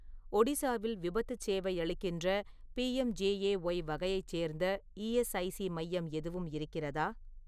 ஒடிசாவில் விபத்துச் சேவை அளிக்கின்ற, பி.எம்.ஜே.ஏ.ஒய் வகையைச் சேர்ந்த இஎஸ்ஐசி மையம் எதுவும் இருக்கிறதா?